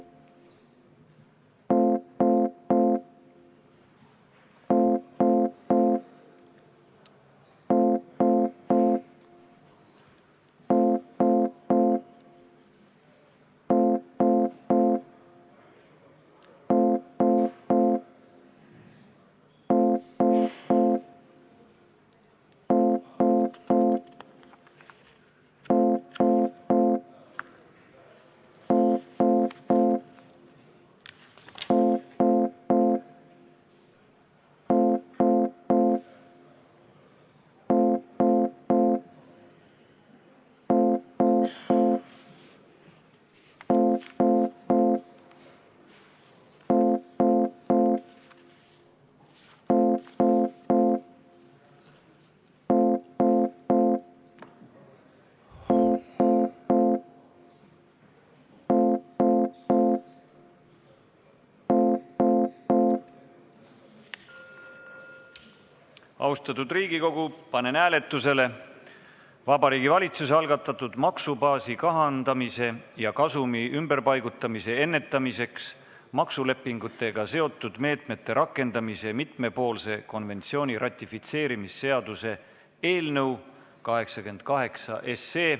Lugupeetud Riigikogu, panen hääletusele Vabariigi Valitsuse algatatud maksubaasi kahandamise ja kasumi ümberpaigutamise ennetamiseks maksulepingutega seotud meetmete rakendamise mitmepoolse konventsiooni ratifitseerimise seaduse eelnõu 88.